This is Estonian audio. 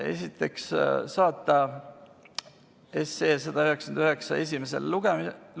Esiteks, saata 199 esimesele lugemisele.